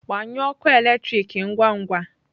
Gbanyụọ ọkụ eletrik ngwa ngwa!